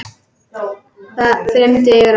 Það þyrmdi yfir hann.